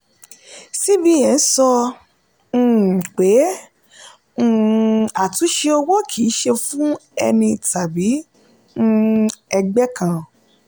cbn sọ um pé um àtúnṣe owó kìí ṣe fún ẹni tàbí um ẹgbẹ́ kan.